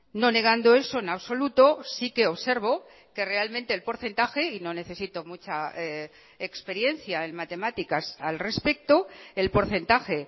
no negando eso en absoluto sí que observo que realmente el porcentaje y no necesito mucha experiencia en matemáticas al respecto el porcentaje